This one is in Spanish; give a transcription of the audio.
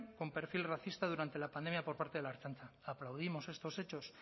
con perfil racista durante la pandemia por parte de la ertzaintza aplaudimos estos hechos